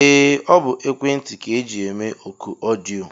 Ee ọ bụ ekwentị ka eji eme ọkụ ọdịyo.